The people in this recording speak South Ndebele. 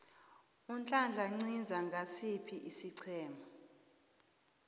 unhlanhla nciza ngosiphi isiqhema